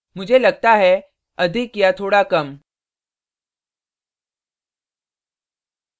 मुझे लगता है अधिक या थोड़ा कम